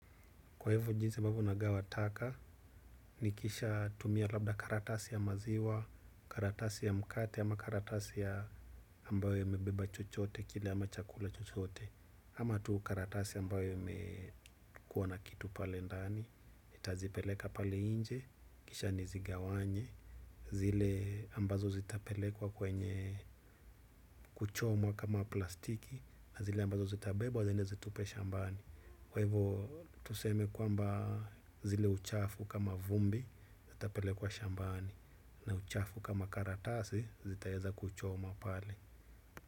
Kwa hivyo jinsi ambavyo nagawa taka, nikishatumia labda karatasi ya maziwa, karatasi ya mkate ama karatasi ya ambayo imebeba chochote kile ama chakula chochote, ama tu karatasi ambayo imekuwa na kitu pale ndani, nitazipeleka pale nje, kisha nizigawanye, zile ambazo zitapelekwa kwenye kuchomwa kama plastiki na zile ambazo zitabebwa ziende zitupwe shambani. Kwa hivo tuseme kwamba zile uchafu kama vumbi zitapelekwa shambani na uchafu kama karatasi zitaweza kuchomwa pale.